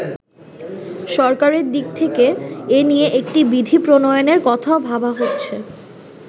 সরকারের দিক থেকে এ নিয়ে একটি বিধি প্রণয়নের কথাও ভাবা হচ্ছে।